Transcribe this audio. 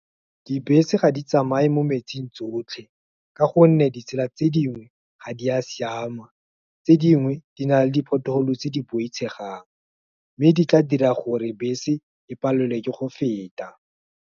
Dibese ga di tsamaye mo metsing tsotlhe, ka gonne ditsela tse dingwe ga di a siama, tse dingwe, di na le di pothole tse di boitshegang, mme di tla dira gore bese, e palelwe ke go feta.